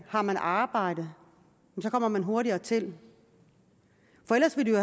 har man arbejde kommer man hurtigere til for ellers ville